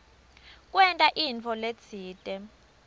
kwenta intfo letsite